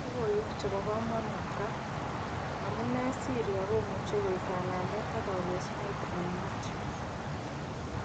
Lokoiwek chebo komonut ra: Amune Syria komuche koik kanamet ak kokesunet eng Mathew.